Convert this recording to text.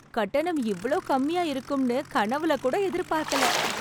கட்டணம் இவளோ கம்மியா இருக்கும்னு கனவுல கூட எதிர்பார்க்கல